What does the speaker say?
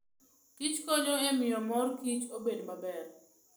Kich konyo e miyo mor kich obed maber.